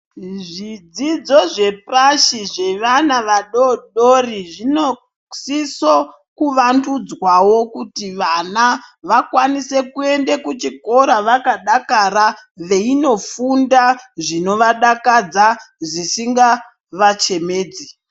Zvidzidzo zvepashi zvevana vadodori zvino siso kuvandudzwawo kuti vana vakwanise kuende kuchikora vakadakara veyi ndofunda zvinovadakadza zvisinga vachemedzi.